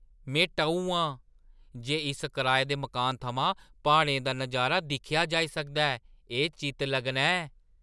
में टऊ आं जे इस कराए दे मकानै थमां प्हाड़ें दा नजारा दिक्खेआ जाई सकदा ऐ। एह् चित्त-लग्गना ऐ!